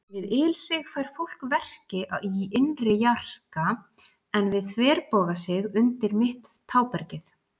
Við ilsig fær fólk verki í innri jarka, en við þverbogasig undir mitt tábergið.